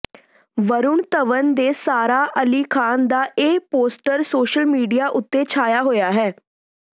ਵਰੁਣ ਧਵਨ ਤੇ ਸਾਰਾ ਅਲੀ ਖ਼ਾਨ ਦਾ ਇਹ ਪੋਸਟਰ ਸੋਸ਼ਲ ਮੀਡੀਆ ਉੱਤੇ ਛਾਇਆ ਹੋਇਆ ਹੈ